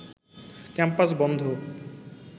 campus বন্ধ